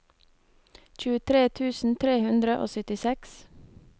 tjuetre tusen tre hundre og syttiseks